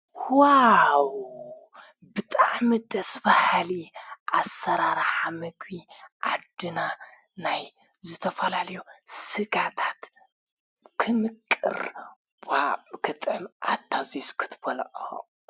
ዋው ብጥዕ ምደስ ባሃሊ ኣሠራራ ምግቢ ኣድና ናይ ዘተፈላልዮ ሥጋታት ክምቅር ክጠዕም ኣታዘስ ክትበለዖ።